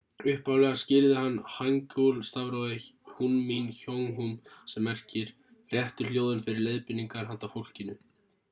upphaflega skírði hann hangeul-stafrófið hunmin jeongeum sem merkir réttu hljóðin fyrir leiðbeiningar handa fólkinu